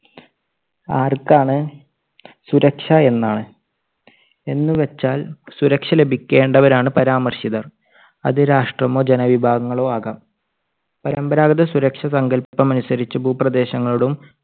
ആർക്കാണ് സുരക്ഷ എന്നാണ്. എന്ന് വെച്ചാൽ സുരക്ഷാ ലഭിക്കേണ്ട വരാണ് പരാമർശിതർ. അത് രാഷ്ട്രമോ ജനവിഭാഗങ്ങളോ ആകാം. പരമ്പരാഗത സുരക്ഷാ സങ്കല്പമനുസരിച്ച് ഭൂപ്രദേശങ്ങളും